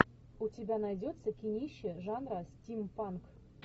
у тебя найдется кинище жанра стимпанк